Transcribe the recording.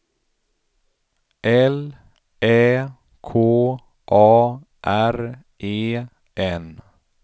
L Ä K A R E N